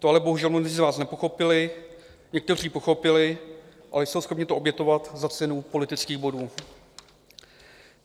To ale bohužel mnozí z vás nepochopili - někteří pochopili, ale jsou schopni to obětovat za cenu politických bodů.